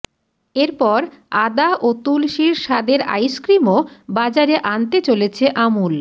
এরপর আদা ও তুলসির স্বাদের আইসক্রিমও বাজারে আনতে চলেছে আমুল